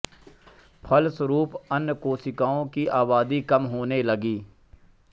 फलस्वरूप अन्य कोशिकाओं की आबादी कम होने लगती है